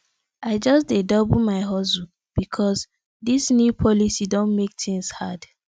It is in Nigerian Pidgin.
i just dey double my hustle because dis new policy don make tins hard